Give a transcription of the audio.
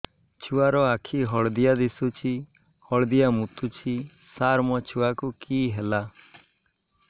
ଛୁଆ ର ଆଖି ହଳଦିଆ ଦିଶୁଛି ହଳଦିଆ ମୁତୁଛି ସାର ମୋ ଛୁଆକୁ କି ହେଲା